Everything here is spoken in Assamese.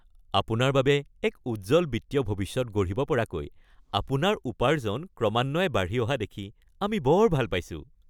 আপোনাৰ বাবে এক উজ্জ্বল বিত্তীয় ভৱিষ্যত গঢ়িব পৰাকৈ আপোনাৰ উপাৰ্জন ক্ৰমান্বয়ে বাঢ়ি অহা দেখি আমি বৰ ভাল পাইছোঁ!